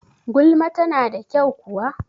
Gulma ta na da kyau kuwa?